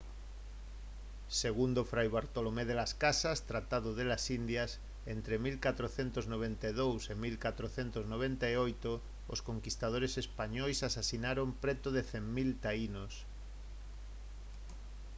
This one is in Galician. segundo fray bartolomé de las casas tratado de las indias entre 1492 e 1498 os conquistadores españois asasinaron preto de 100 000 taínos